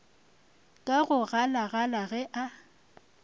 ka go galagala ge a